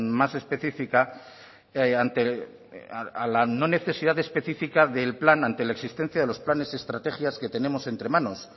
más específica a la no necesidad específica del plan ante la existencia de los planes y estrategias que tenemos entre manos